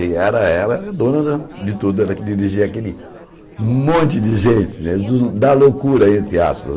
E ela era dona da de tudo, ela que dirigia aquele monte de gente né, da loucura, entre aspas.